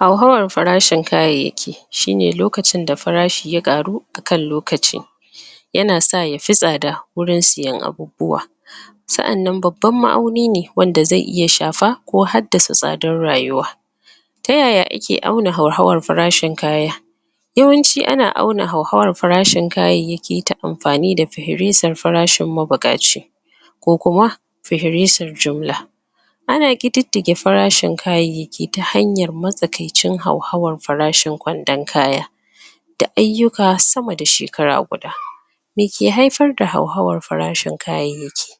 Hauhawar farshin kayayyaki shi ne lokacin da farashi ya ƙaru a kan lokaci yana sa ya fi tsada wurin siyan abubuwa sa'annan babban ma'auni ne wanda zai iya shafa ko haddasa tsadar rayuwa ta yaya ake auna hauhawar farashin kaya yawanci ana auna hauhawar farashin kayayyaki ta mafani da fihirasar farashin mabuƙaci ko kuma fihirasar jumla ana ƙididdige farshin kayayyaki ta hanyar matsakaicin hauhawar farashin kwandon kaya da ayyuka sama da shekara guda meke haifar hauhawar farashin kayayyaki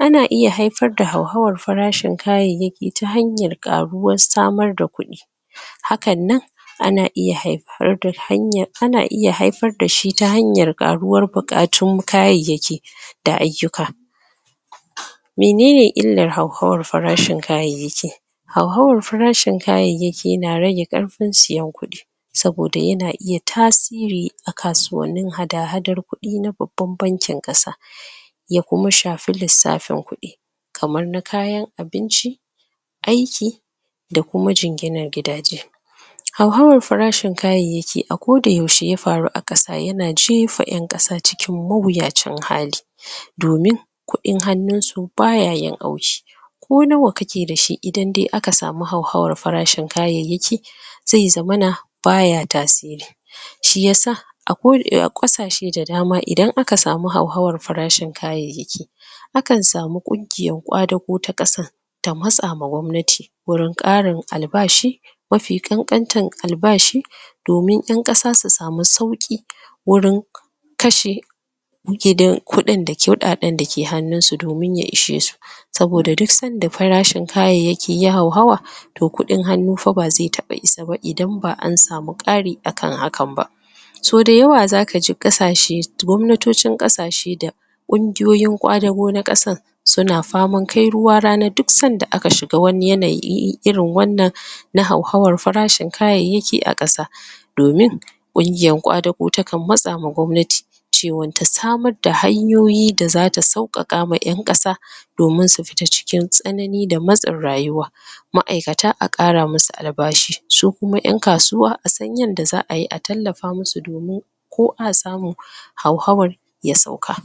ana iya haifar da hauhawar farashin kayayyaki ta hanyar ƙaruwar samar da kuɗi hakan nan ana iya hai...? ana iya haifar da shi ta hanyar ƙaruwar buƙatun kayayyaki da ayyuka mene ne illar hauhawar farashin kayayyaki hauhawar farashin kayayyaki na rage ƙarfin siyan kuɗi saboda yana iya tasiri a kasuwannin hada-hadar kuɗi na babban bankin ƙasa ya kuma shafi lissafin kuɗi kamar na kayan abinci aiki da kuma jinginar gidaje hauhawar farashin kayayyaki a koda yaushe ya faru a ƙasa yana jefa ƴan ƙasa cikin mawuyacin hali domin kuɗin hannunsu ba ya yin auki ko nawa kake da shi idan de aka samu hauhawar farashin kayayyaki zai zamana ba ya tasiri shi ya sa a ƙasashe da dama idan aka samu hauhawar farashin kayayyaki akan samu ƙungiyar ƙwadago ta ƙasa ta matsa ma gwamnati wurin ƙarin albashi mafi ƙanƙantan albashi domin ƴan ƙasa su samu sauƙi wurin kashe? kuɗin da kuɗaɗen dake hannunsu domin ya ishe su saboda duk sanda farashin kayayyaki ya hauhawa to kuɗn hannu fa ba zai taɓa isa ba idan ba an samu ƙari a kan hakan ba sau dayawa zaka ji ƙasashe gwamnatocin ƙasashe da ƙungiyoyin ƙwadago na ƙasan su na faman kai ruwa rana duk sanda aka shiga wani yanayi irin wannan na hauhawar farashin kayayyaki a ƙasa domin ƙungiyar ƙwadago takan matsama gwamnati cewa ta samar da hanyoyi da zata sauƙaƙa ma ƴan ƙasa domin su fita cikin tsanani da matsin rayuwa ma'aikata a ƙara musu albashi su kuma ƴan kasuwa a san yadda za a yi a tallafa musu domin ko a samu hauhawar ya sauka.